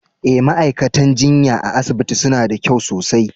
Eh, ma'aikatan jinya a'asibitin suna da kyau sosai.